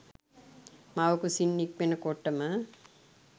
මව්කුසින් නික්මෙන කොටම